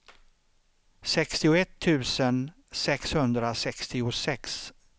sextioett tusen sexhundrasextiosex